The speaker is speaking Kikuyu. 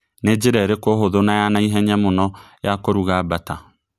nĩ ĩrĩkũ njĩra hũthu na ya naihenya mũno ya kũrũga bata